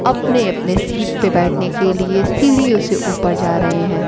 अपने अपने सीट पे बैठने के लिए सीढ़ीयों से ऊपर जा रहे हैं।